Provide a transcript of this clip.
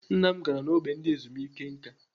Nna m gara n'ógbè ndị ezumike nká.